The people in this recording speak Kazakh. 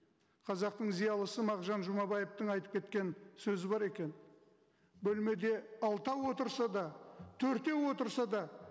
қазақтың зиялысы мағжан жұмабаевтың айтып кеткен сөзі бар екен бөлмеде алтау отырса да төртеу отырса да